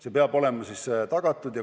See peab olema tagatud.